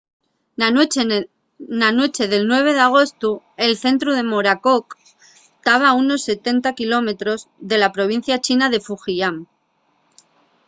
na nueche del 9 d'agostu el centru del morakot taba a unos setenta kilómetros de la provincia china de fujian